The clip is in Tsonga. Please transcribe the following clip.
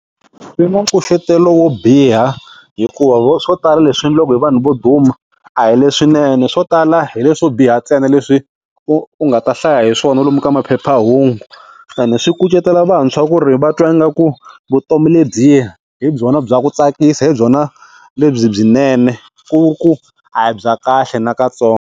Swi na nkucetelo wo biha hikuva vo swo tala leswi endlaka hi vanhu vo duma a hi leswinene swo tala hi leswo biha ntsena leswi u u nga ta hlaya hi swona lomu ka maphephahungu and swi kucetelo vantshwa ku ri va twa ingaku vutomi lebyiya hi byona bya ku tsakisa hi byona lebyinene ku ri ku a hi bya kahle nakatsongo.